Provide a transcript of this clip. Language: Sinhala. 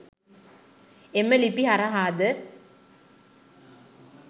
එම ලිපි හරහාද